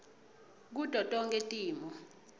kuto tonkhe timo